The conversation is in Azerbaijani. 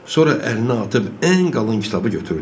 Sonra əlini atıb ən qalın kitabı götürdü.